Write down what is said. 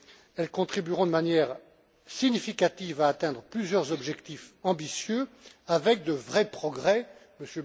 Elles contribueront de manière significative à atteindre plusieurs objectifs ambitieux avec de vrais progrès, M.